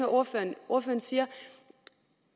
ordføreren siger